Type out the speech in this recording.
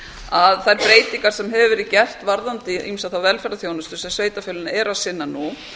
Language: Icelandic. að þær breytingar sem hafa verið gerðar varðandi ýmsa þá velferðarþjónustu sem sveitarfélögin eru að sinna nú